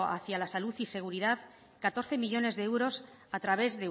a la salud y seguridad catorce millónes de euros a través